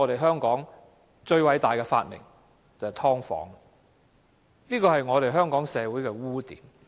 香港最偉大的發明便是"劏房"，這個也是香港社會的污點。